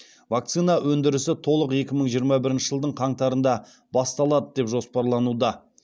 вакцина өндірісі толық екі мың жиырма бірінші жылдың қаңтарында басталады деп жоспарлануда